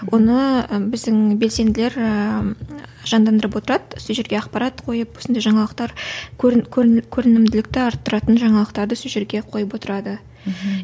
оны біздің белсенділер ііі жандандырып отырады сол жерге ақпарат қойып осындай жаңалықтар көрін көрін көрінімділікті арттыратын жаңалықтарды сол жерге қойып отырады мхм